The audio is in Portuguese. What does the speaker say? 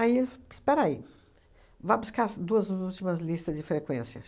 Aí ele f, espera aí, vá buscar as duas ú últimas listas de frequência.